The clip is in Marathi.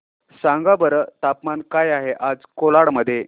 सांगा बरं तापमान काय आहे आज कोलाड मध्ये